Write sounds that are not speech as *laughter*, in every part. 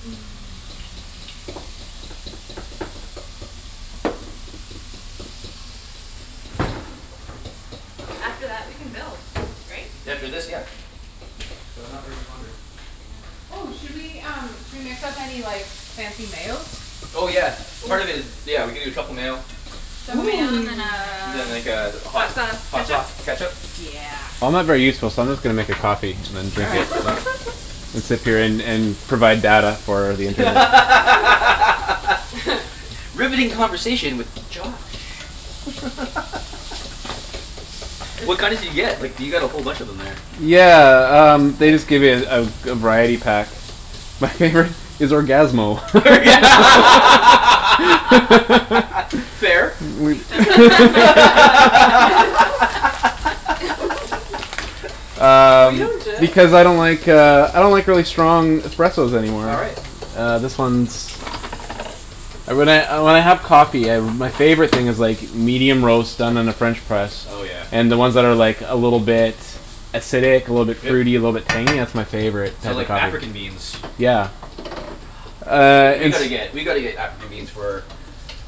*noise* After that we can build, right? After this, yeah. So not very much longer. Okay. Oh, should we um should we mix up any like fancy mayos? Oh yeah. Oh. Part of it is. Yeah we can do a truffle mayo. Truffle mayo and then *noise* Then like a a hot hot sauce hot ketchup? sauce ketchup Yeah. I'm not very useful so I'm just gonna make a coffee and then All drink right. it. *noise* *laughs* It's appearin' and provide data for the internet. *laughs* *laughs* *laughs* Riveting conversation with Josh. *laughs* What kind *laughs* did you get? Like du- you got a whole bunch in there. Yeah um they just give it a a variety pack. My favorite is Orgasmo. *laughs* Orga- *laughs* *laughs* Fair. *laughs* The *laughs* *inaudible* favorite *laughs* *laughs* Were Um you and Jeff? because I don't like uh I don't like really strong espressos anymore. All right. Uh this one's Uh when I uh when I have coffee my favorite thing is like medium roast done in a french press. Oh yeah. And then ones that are like a little bit Acidic, a little bit fruit a Yep. little bit tangy. That's my favorite So type of like African coffee. beans. Yeah. Ah Uh Burundi We it's gotta beans. get we gotta get African beans for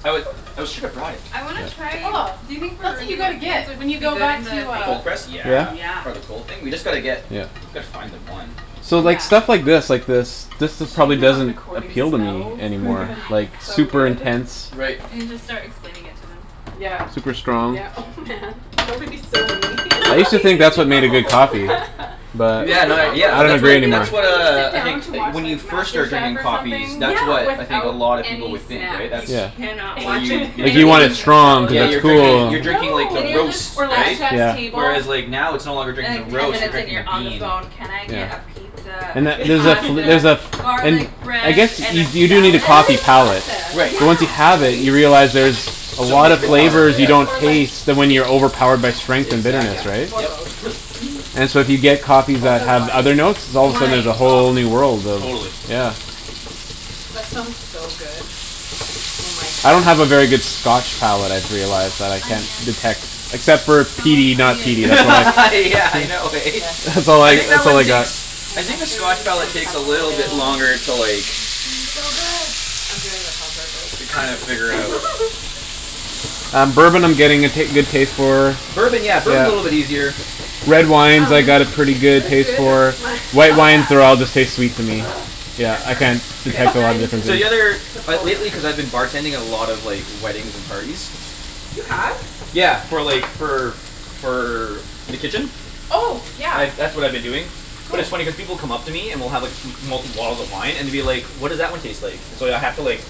oh we shoulda brought it. I wanna Yeah. try Oh, do you think that's what you Burundi gotta wo- beans get would when you be go good in back to the thing? uh Cold press? Yeah. Yeah? Yeah. Part of the cold thing? We just gotta get Yeah. Gotta find them, one. So like Yeah. stuff like this like this this It's a just shame probably we're not doesn't recording appeal to me smells anymore because like it's so super good. *noise* intense. Right. And you just start explaining it to them. Yeah Super strong. yeah oh *noise* man that would be so mean I used to think that's what made a good coffee. *laughs* *laughs* But Yeah no I yeah don't that's It what agree would be anymore. that's *laughs* like what when you uh sit I down think to Like watch when you like first Master start Chef drinking or coffees something Yeah. that's what I think a without lot of people any would think snacks. right You that's Yeah. cannot Where watch you you're Like you any drinking want *laughs* it cooking strong show cuz Yeah without you're you're drinking cool. you're snacks. No. drinking like the Then you're roast just Or like right? effed Chef's Yeah. Table. Whereas like now it's no longer drinking And like You the ten roast you're minutes can't. and drinking you're the on the bean. phone, "Can I get a Yeah. pizza, And that some there's a fl- there's pasta, a *laughs* f- garlic and I bread, guess and you a you do need salad?" It's a coffee always palate, pasta, but Right. once you Yeah. have it right? you realize there's A So lot of much more, flavors you yes. don't Or *laughs* like taste when meat. you're overpowered by strength and Exactly, Yeah. bitterness, right? Or yep. both. *laughs* *noise* And so if you get coffee that Also have other wine. notes All of a sudden there's Wine, a oh. whole new world of Totally. The yeah. wine. That smells so good. Oh my I don't have a very good goodness. scotch palate I've Oh, realized that I can't onions. detect Except for The a smell of peaty and not onion peaty is my *laughs* favorite. Yeah *laughs* I know eh? Yes. That's It's all I I think that that's all one I got. takes I And think the scotch mushrooms, and palate takes a truffle little bit oil. Uh longer it's to like going to be so good. I'm doing this on purpose To kinda figure *laughs* out. *laughs* Um bourbon I'm getting a ta- good taste for Bourbon yeah Yeah. bourbon's a little bit easier. Red wines I Um, got a pretty is good this taste good? for My Oh White wines *laughs* they're all yeah. just taste sweet to me. *noise* Yeah That's I can't perfect. K, detect a now I lot of need to *laughs* differences. So the other put like salt in lately it. cuz I've been bartending a lot of like weddings and parties You have? Yeah for like for for the kitchen? Oh yeah, I've that's what I've been doing But it's funny cuz cool. people come up to me and will have m- multiple bottles of wine and will be like, "What does that one taste like?" And so I'd h- have to like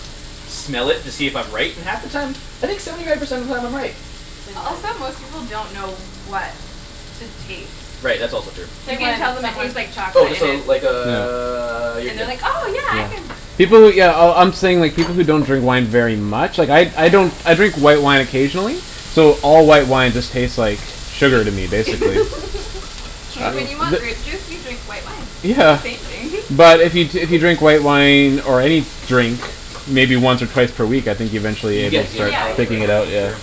smell it to see if I'm right and half the time I think seventy five percent of the time I'm right. Say Also when. most people don't know what to taste. Right that's also true. Say You can when, tell them it someone. tastes like Oh chocolate and this'll it's like *noise* uh you're And they're good. like, "Oh yeah I Yeah. can". Yeah. People who yeah oh I'm saying people who don't drink wine very much. Like I Oh I yeah. don't I drink white wine occasionally So all white wine just taste like Sugar to me Shitty *laughs* basically. It's Uh Like when true. you want th- grape juice you drink white wine. They're the Yeah. same thing *laughs* But if you t- if you drink white wine or any Drink maybe once or twice per week I think eventually You you could get Yeah, you get start a palate you for it picking get it yeah out for yeah. sure.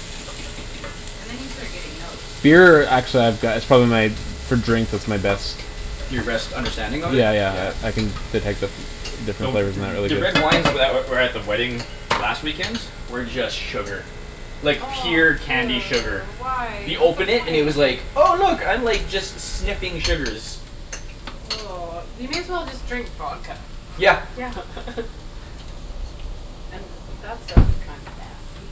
And then you start getting notes. Beer actually I've go- it's probably my for drink that's my best. Your best Yeah understanding of it? yeah Yeah. yeah I can detect the different different Though flavors in th- that really the red good. wines that were at the wedding last weekend were just sugar. Like pure *noise* candy sugar. Ew, why You what's the open it and it point? was like Oh look I'm like just sniffing sugars. *noise* You may as well just drink vodka *laughs* Yeah. Yeah. And that stuff's kinda nasty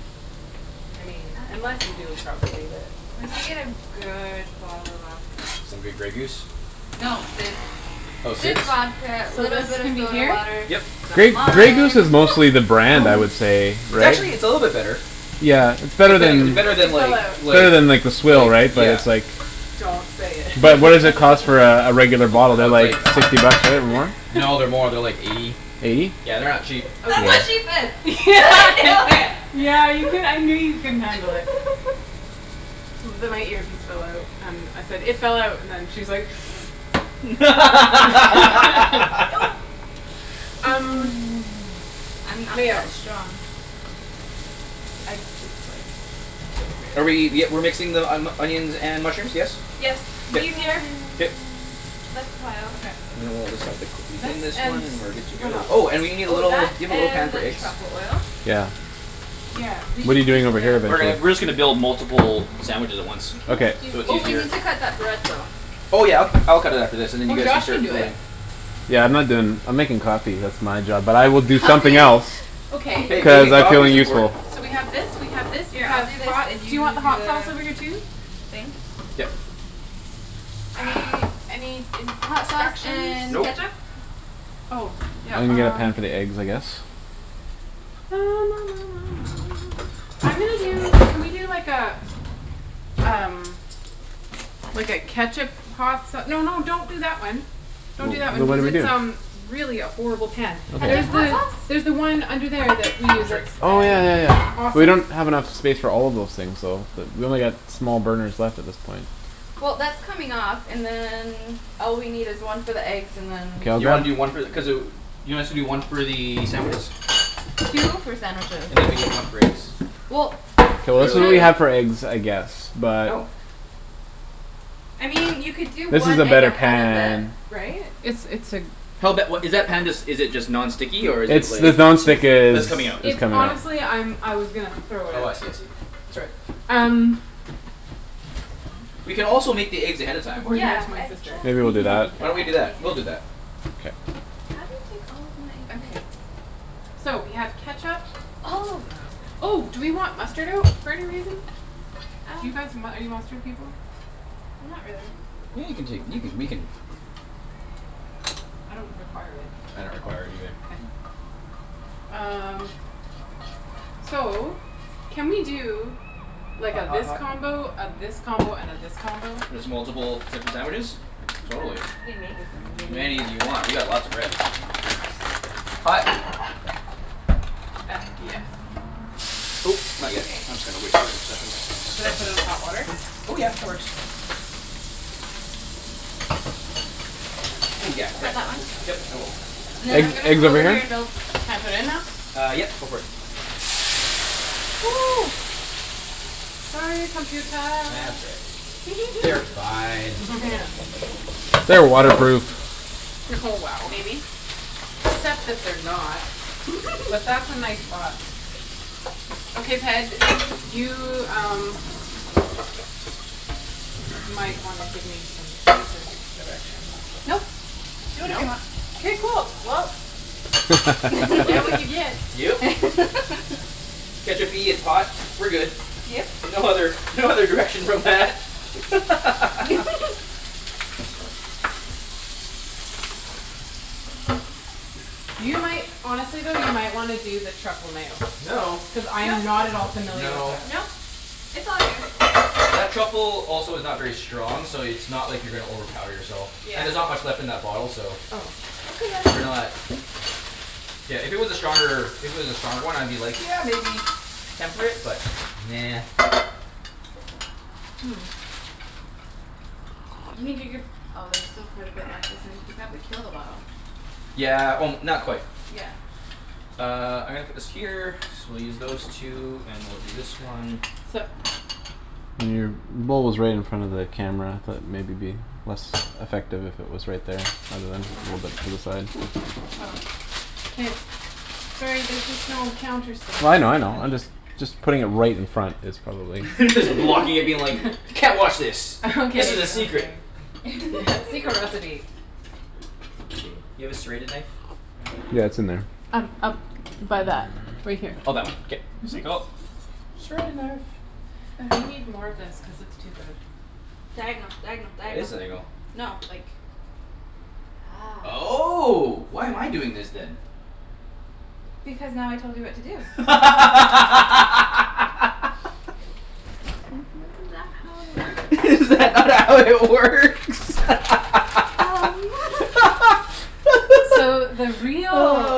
I mean *noise* unless you do it properly but Unless you get a good bottle of vodka. Some good Grey Goose? No, Sid's Oh Sid's Sid's vodka, So little this bit of can be soda here? water, Yep. some Grey Grey Goose lime. is mostly the brand I would *noise* say, It's right? actually it's a little bit better. Yeah, it's better Pretending i- than better It than fell like out. It's like better than like the swill right? like But yeah it's like Don't say But what does it it. *laughs* cost for a regular bottle? They're That's like like hun- sixty bucks right? Or more? No they're *laughs* more they're like eighty. Eighty? Yeah, they're not cheap. That's Okay what she Yeah. said *laughs* do yeah it. *laughs* yeah you cou- I knew you couldn't handle it. *laughs* The my earpiece fell out. Um I said it fell out and she's like *noise* *laughs* *laughs* *noise* Um *noise* I'm not mayo. that strong. It's I it's like just Are we barely. y- we're mixing the onions and mushrooms, yes? Yes, I'm it's K sure easier. Ian Um K. um. less pile. Okay. And then we'll just have to quickly This clean this and one and we're good to what go. else? Oh and we need a Oh, little do that you have a little pan and for the eggs? truffle oil. Yeah. Yeah, we What're you should just doing over here get. We're getting basically? we're just gonna build multiple sandwiches at once. We can Okay. just do So it's Oh these. we easier. need to cut that bread though. Oh yeah I'll ca- I'll cut it after this and then you Or guys can Josh can start do it. building. Yeah I'm not doin' I'm makin' coffee that's my job but I will do Oh Coffee? somethin' else. *laughs* Okay. Hey, Cuz I making like coffee's feeling important. useful. So we have this we have this we Yeah I'll have do this hot and do you want you the do hot sauce the over here too? thing? Yep. Any any Hot sauce instructions? and Nope. ketchup? Oh yeah I'm gonna get a pan um for the eggs, I guess. *noise* I'm gonna Oh, do bagels. can we do like uh Um like a ketchup hot sa- no no don't do that one. Well Don't do that wait one what cuz did we it's um do? really a horrible pan. Ketchup There's hot the sauce? there's the one under there that we I'm use sorry. it. Oh yeah yeah yeah we Awesome. don't have enough space for all of those things though. We only got small burners left at this point. Well that's coming off and then all we need is one for the eggs and then K I'll You wanna grab do one for the cuz uh you want us to do one for the sandwiches? Two for sandwiches. And then we need one for eggs. Well K Cuz we're it's it's really not really cutting not for eggs I guess Oh but I mean you could do This is one a egg better ahead of it, pan right? It's it's a Hell bet what is that pan just is it just non It's stick or is it It's like just the non-stick Oh is it's it's coming coming out out. It's right honestly I'm I was gonna throw it Oh I out. see I see. That's all right. Um. We can also make the eggs ahead of time. Or give it to Yeah my I sister Maybe we'll do just that. *laughs* Why said don't we do that? that We'll do that. Ian K. How do you take all of my Okay. ideas? So we have ketchup. All of them. Oh do we want mustard out for any reason? Do you Uh. guys mu- are you mustard people? Not really. Yeah you can take you can we can I don't require it. I don't require it either. K. *noise* Um so can we do Like a Hot hot this hot combo, a this combo and a this combo? Just multiple types of sandwiches? Totally. We can make as Many many as you want, we got lots of bread. *noise* Hot. That yeah. Oh not yet Okay. I'm just gonna wait here a second. Should I put in hot water? Oh yeah, that works. Oh yeah Got right. that one? Yep, I will. And then I'm Eg- gonna eggs come over over here and here? build. Can I put it in now? Uh yep go for it. *noise* Sorry computah That's all right. They're *laughs* fine. *laughs* Yeah. They're waterproof. Oh wow. Maybe. Except that they're not. But *laughs* that's a nice thought. Okay Ped, you um Might wanna give me some basic direction. Nope, do whatever you Nope. want. K cool well You get what you *laughs* get. Yep. *laughs* ketchup-y, it's hot. We're good. Yep. No other no other direction from that *laughs* *laughs* You might honestly though you might wanna do the truffle mayo. No Cuz I No am not at all familiar with No it. Nope, it's all you. That truffle also is not very strong so it's not like you're gonna overpower yourself. Yeah. And there's not much left in that bottle so Oh. Okay then. We're not. Yeah, if it was a stronger if it was a stronger one I'd be like, "Yeah maybe". Temper it, but nah. *noise* You can get your oh there's still quite a bit left isn't you'll probably kill the bottle. Yeah o- not quite. Yeah. Uh I'm gonna put this here so we'll use those two and we'll do this one Sup? Your bowl is right in front of the camera. That maybe be less effective if it was right there rather than a little bit to the side. Oh. K. Sorry, there's just no counter space. Well I know I know. Yeah it's I'm right. just just putting it right in front is probably *laughs* Just blocking it being like. *laughs* "Can't watch this. *laughs* This is a Okay secret." okay. Yeah secret recipe. *laughs* Let's see. You have a serrated knife? Yeah, it's in there. Um up by that right here. Oh that one K. Mhm. sank O. Serrated knife. Okay. They need more of this cuz it's too good. Diagonal diagonal That is diagonal. diagonal. No like That's Oh why am I doing this then? Because now I told you what to do. *laughs* *noise* Isn't that how it works? *laughs* Is that not how it works? *laughs* *noise* Um *laughs* So the real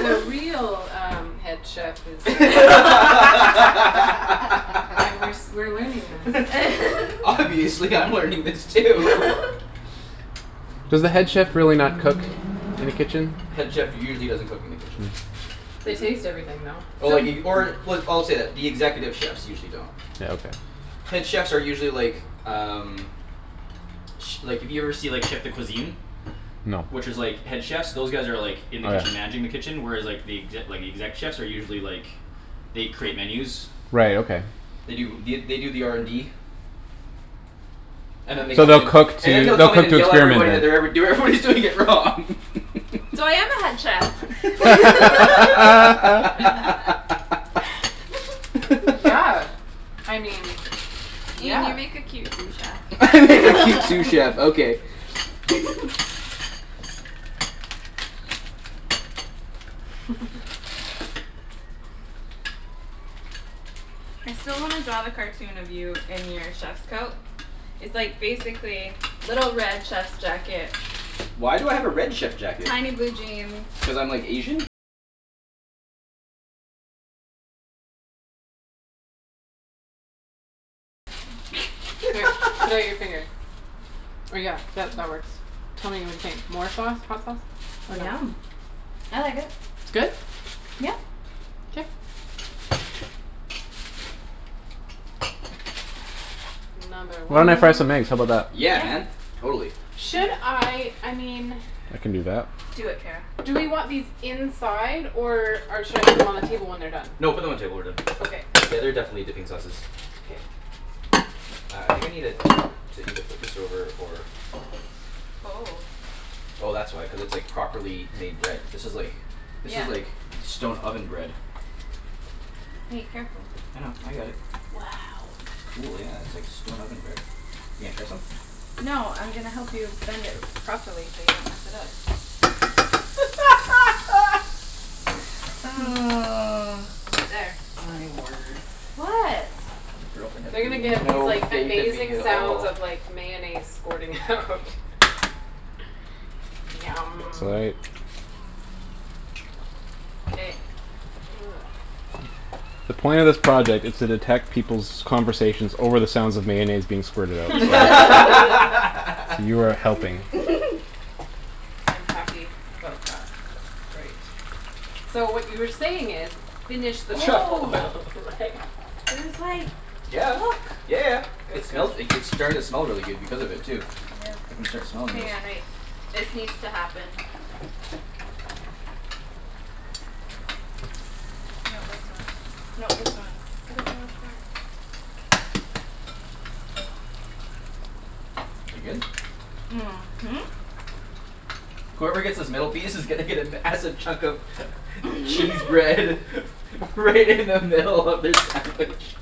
the real um head chef is uh *laughs* Aight, we're s- we're learning this. *laughs* Obviously I'm learning this too *laughs* Does the head chef really not cook in the kitchen? Head chef usually doesn't cook in the kitchen. *noise* They taste Mhm. everything though. Oh like if you or w- I'll say that executive chefs usually don't. Yeah, okay. Head chefs are usually like um Ch- like if you ever see like chef de cuisine. No. Which is like head chefs those guys are like Oh In the kitchen yeah. managing the kitchen whereas like The exe- the exec chefs are usually like They create menus Right, okay. They do the they do the R N D And then they *noise* So come in they'll and cook And then to they'll they'll come in cook and to yell at experiment everybody then. that they're ever- do- everybody's doing it wrong *laughs* So I am a head chef. *laughs* Yeah, *laughs* *laughs* I mean, Ian yeah. you make a cute sous *laughs* chef. I make a cute sous chef okay. *laughs* *laughs* I still wanna draw the cartoon of you in your chef's coat. It's like basically little red chef's jacket Tiny blue jeans K, put out your *laughs* finger. Or yeah that that works. Tell me what you think. More sauce? Hot sauce? Or no? Yum. I like it. It's good? Yeah. K. Another Why one. don't I fry some eggs? How 'bout that? Yeah Yeah. man, totally. Should Okay. I I mean I can do that. Do it, Kara. Do we want these inside or uh should I put them on the table when they're done? No put them on the table when they're Okay. done. Yeah they're definitely dipping sauces. K. Uh I think I needed to either flip this over or Oh. Oh that's why cuz it's like properly made bread. This is like This Yeah. is like stone oven bread. Hey, careful. I know, I got it. Wow. Cool yeah it's like stone oven bread. You gonna try some? No I'm gonna help you bend it properly so you don't mess it up. *laughs* *noise* *laughs* There. My word. What? Girlfriend They're gonna has get these no like faith in me amazing at sounds all. of like mayonnaise squirting out *laughs* It's Yum. aight. K. *noise* The point of this project is to detect peoples' conversations over the sounds of mayonnaise being squirted out. *laughs* And you are *laughs* helping. *laughs* I'm happy about that. That's great. So what you were saying is, "Finish this truffle Oh oil", right? *laughs* There's like, Yeah yeah look yeah Good it good. smells g- like it's starting to smell really good because of it too. I can start Yeah. smelling Hang this. on, wait. This needs to happen. No this one. No this one. I don't know which one. Is it good? Mhm. Whoever gets this middle piece is gonna get a massive chunk of *laughs* Cheese *laughs* bread *laughs* Right in the middle of their sandwich.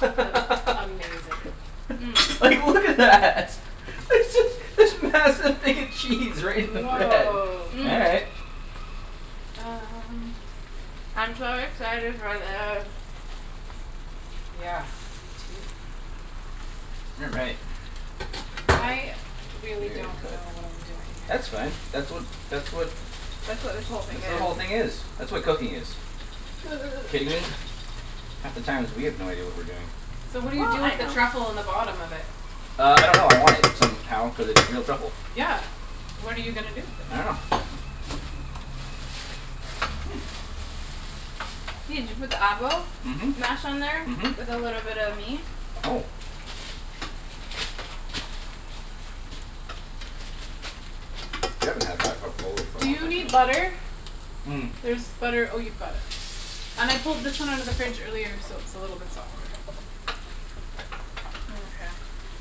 That's amazing. *noise* Like look at that. There's this this massive thing of cheese right in the bread. Woah. All right. *noise* Um. I'm so excited for this. Yeah, me too. You're right. I really Weird don't cut. know what I'm doing here. That's fine. That's what that's what That's what this whole That's thing what is. the whole thing is. That's what cooking is. Kidding me? *noise* Half the times we have no idea what we're doing. So what do you Well, do I with the know. truffle in the bottom of it? Uh I don't know. I want it. Somehow. Cuz it's real truffle. Yeah, what are you gonna do with it? I dunno *noise* Ian, did you put the avo? Mhm. Mhm. Mash on there? With a little bit of meat? Oh. We haven't had a hot cup of Kahlua for a Do long you time. need Mm- butter? mm. There's butter oh you've got it. And I pulled this one out of the fridge earlier so it's a little bit softer. Mkay.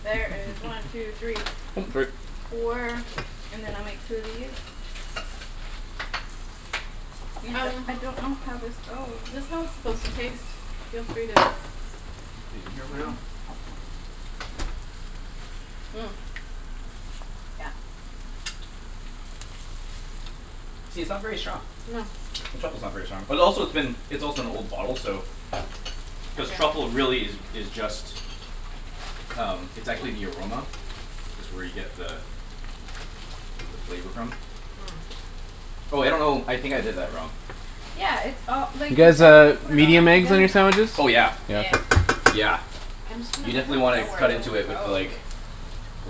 There is one two three *noise* Oh f- sorry. four and then I'll make two of these. Ian uh I don't know how this goes. Is this how it's supposed to taste? Feel free to. These in here right off. *inaudible* *noise* Yeah. See, it's not very strong. No. The truffle's not very strong. But also it's been it's also an old bottle so Cuz Yeah. truffle really is is just Um it's actually the aroma. That's where you get the The flavor from. *noise* Oh I don't know. I think I did that wrong. Yeah, it's all You like i- guys I need uh to put it all medium back eggs on together your now. sandwiches? Oh yeah Yeah. Yeah. yeah. I'm just gonna I You steal don't definitely wanna know where cut this into it off with goes. like